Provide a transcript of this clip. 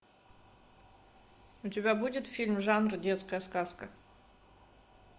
у тебя будет фильм жанр детская сказка